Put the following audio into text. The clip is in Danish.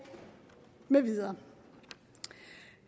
med videre